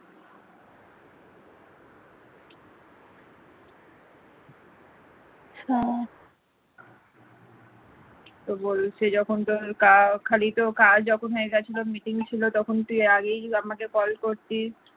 তো বলছে যখন তোর কাজ খালি তোর কাজ যখন হয়ে গিয়েছিল meeting ছিল তখন তুই আগেই আমাকে call করতিস